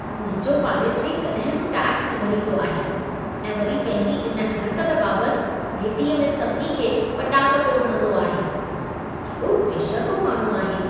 मुंहिंजो पाड़ेसिरी कॾहिं बि टैक्सु न भरींदो आहे ऐं वरी पंहिंजी इन हर्क़त बाबति घिटीअ में सभिनी खे ॿटाक पियो हणंदो आहे। केॾो बशर्मो माण्हू आहे।